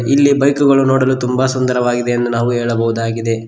ಇಲ್ಲಿ ಬೈಕುಗಳು ನೋಡಲು ತುಂಬಾ ಸುಂದರವಾಗಿದೆ ಎಂದು ನಾವು ಹೇಳಬಹುದಾಗಿದೆ.